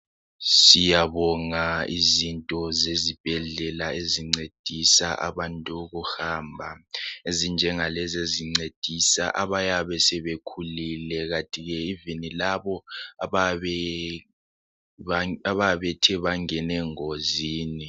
Siyabonga izinto ezibhedlela ezincedisa abantu ukuhamba ezinjengalezi ezincedisa abantu abayabe sebekhulile kanti lalabo abayabe bethe bangena engozini